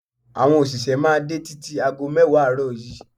Àwọn òṣìṣẹ́ máa dé títí ago mẹ́wàá àárọ̀ yìí.